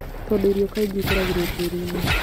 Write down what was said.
Tondũ irio kaingĩ ikũragĩrio tĩĩri-inĩ